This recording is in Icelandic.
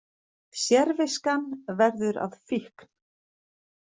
Sérviskan verður að fíkn